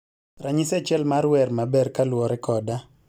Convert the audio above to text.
Ranyisi achiel mar wer maber kaluwore koda